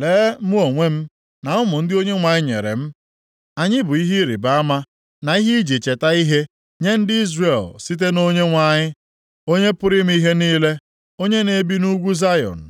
Lee mụ onwe m, na ụmụ ndị Onyenwe anyị nyere m. Anyị bụ ihe ịrịbama na ihe iji cheta ihe nye ndị Izrel site na Onyenwe anyị, Onye pụrụ ime ihe niile, onye na-ebi nʼugwu Zayọn.